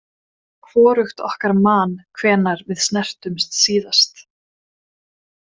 Hvorugt okkar man hvenær við snertumst síðast.